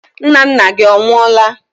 Nnanna gị ọ nwụọla?